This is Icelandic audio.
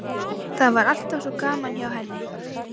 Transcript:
Það var alltaf svo gaman hjá henni.